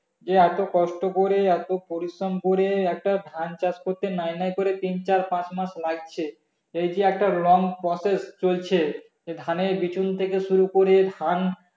যে এত কষ্ট করে এত পরিশ্রম করে একটা ধান চাষ করতে নেই নেই করে তিন চার পাঁচ মাস লাগছে এই যে একটা long process চলছে যে ধানের বীজ থেকে শুরু করে ধান